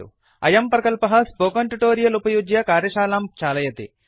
अयं प्रकल्पः ट्युटोरियल उपयुज्य कार्यशालां चालयति